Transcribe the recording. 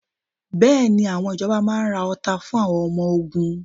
Bẹ́ẹ̀ni, àwọn ìjọba máa ra ọta fún àwọn ọmọ ogun?